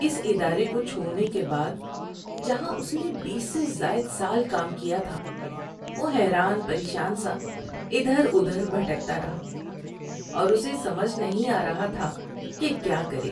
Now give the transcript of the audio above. اس ادارے کو چھوڑنے کے بعد، جہاں اس نے بیس سے زائد سال کام کیا تھا، وہ حیران پریشان سا ادھر ادھر بھٹکتا رہا اور اسے سمجھ نہیں آ رہا تھا کہ کیا کرے۔